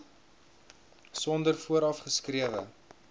sonder vooraf geskrewe